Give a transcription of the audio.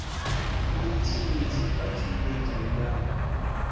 notsi notsi a tsumbedzo yan